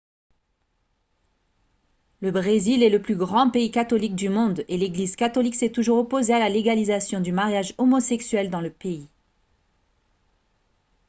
le brésil est le plus grand pays catholique du monde et l'église catholique s'est toujours opposée à la légalisation du mariage homosexuel dans le pays